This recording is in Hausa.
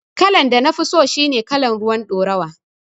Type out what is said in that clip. Kalan da nafi so shine kalan ruwar ɗoruwa